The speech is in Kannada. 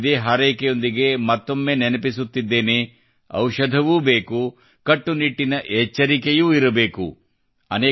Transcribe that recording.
ಇದೇ ಹಾರೈಕೆಯೊಂದಿಗೆ ಮತ್ತೊಮ್ಮೆ ನೆನಪಿಸುತ್ತಿದ್ದೇನೆ ಔಷಧವೂ ಬೇಕು ಕಟ್ಟುನಿಟ್ಟಿನ ಎಚ್ಚರಿಕೆಯೂ ಇರಬೇಕುದವಾಯೀ ಭೀ ಕಡಾಯೀ ಭೀ